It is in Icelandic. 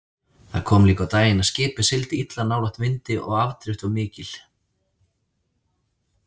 Það kom líka á daginn að skipið sigldi illa nálægt vindi og afdrift var mikil.